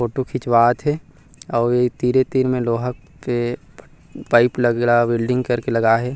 Photo खिचवात हे और इ तीरे तीर में लोहा के पाइप लगरहा वेल्डिंग करके लगाए हे।